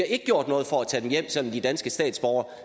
ikke gjort noget for at tage dem hjem selv de danske statsborgere